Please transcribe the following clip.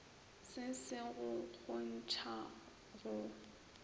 se se go kgontšha go